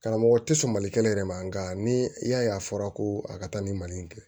Karamɔgɔ tɛ sɔn mali kɛnɛ yɛrɛ ma nka ni i y'a ye a fɔra ko a ka taa ni mali in kɛ